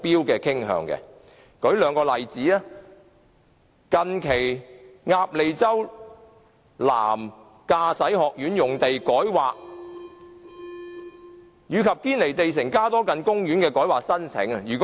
讓我舉出兩個例子，近期鴨脷洲南香港駕駛學院用地改劃及堅尼地城加多近街公園的改劃申請。